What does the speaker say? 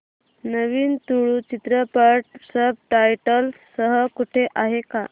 नवीन तुळू चित्रपट subtitles सह कुठे आहे का